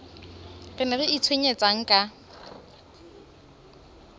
re ne re itshwenyetsang ka